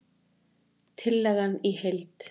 Tillagan í heild